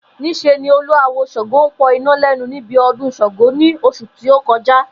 Nís̩e ni olú awo S̩àngó ń po̩ iná lé̩nu níbi o̩dún S̩àngó ní os̩ù ti ó ko̩já